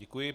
Děkuji.